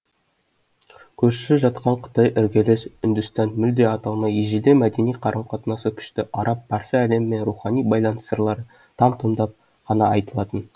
көрші жатқан қытай іргелес үндістан мүлде аталмай ежелден мәдени қарым қатынасы күшті араб парсы әлемімен рухани байланыс сырлары там тұмдап қана айтылатын